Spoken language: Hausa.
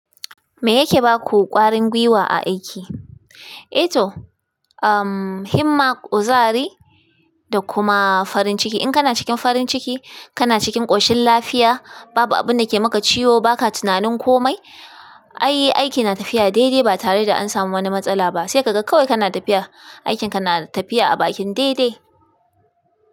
Me yake baku ƙwarin gwiwa a aiki? Ehto, himma, kuzari da kuma farin ciki. In kana cikin farin ciki, kana cikin ƙoshin lafiya, babu abun da ke maka ciwo, ba ka tunanin komai, ayy aiki na tafiya daidai ba tare da an samu wani matsala ba. Sai ka ga kawai kana tafiya, aikin ka na tafiya a bakin daidai.